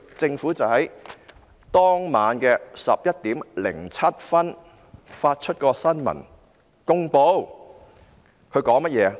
政府當晚11時07分發出新聞公報，它說甚麼呢？